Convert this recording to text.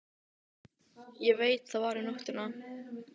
Ég veit það var um nóttina.